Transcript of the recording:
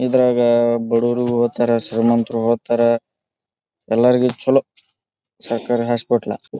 ಇದ್ರಾಗ ಬಡುವರು ಹೊತಾರೆ ಶ್ರೀಮಂತರು ಹೋತಾರೆ ಎಲ್ಲರಿಗು ಚಲೋ ಸರ್ಕಾರೀ ಹಾಸ್ಪೆಟ್ಲ .